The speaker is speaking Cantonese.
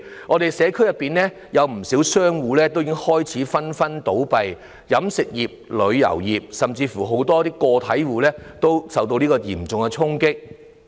我們社區內有不少商戶已紛紛倒閉，飲食業、旅遊業，甚至很多個體戶均受到嚴重衝擊。